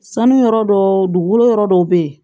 Sanu yɔrɔ dɔ dugukolo yɔrɔ dɔw bɛ ye